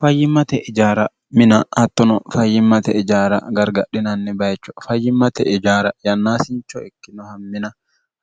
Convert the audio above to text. fayyimmate ijaara mina hattono fayyimmate ijaara gargadhinanni bayicho fayyimmate ijaara yannaasincho ikkinoha mina